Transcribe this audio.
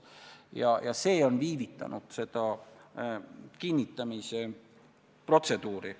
Ja see on viivitanud kinnitamise protseduuri.